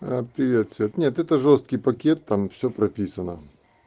аа привет свет нет это жёсткий пакет там всё прописано